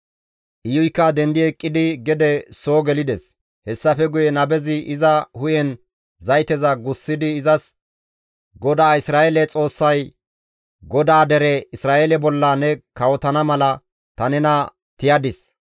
Iyuykka dendi eqqidi gede soo gelides; hessafe guye nabezi iza hu7en zayteza gussidi izas, «GODAA Isra7eele Xoossay, ‹GODAA dere Isra7eele bolla ne kawotana mala ta nena tiyadis.